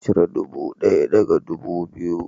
Cire ɗubu ɗaya daga ɗubu biyu